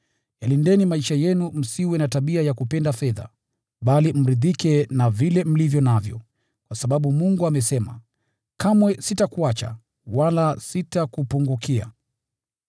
Yalindeni maisha yenu msiwe na tabia ya kupenda fedha, bali mridhike na vile mlivyo navyo, kwa sababu Mungu amesema, “Kamwe sitakuacha, wala sitakupungukia.”